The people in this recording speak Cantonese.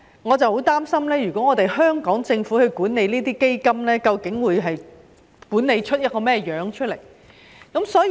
我十分擔心，如果是由香港政府管理這些基金，究竟會管理出甚麼樣子呢？